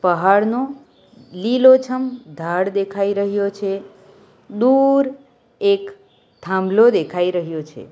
પહાડનો લીલો છમ ધાડ દેખાઈ રહ્યો છે દૂર એક થાંભલો દેખાઈ રહ્યો છે.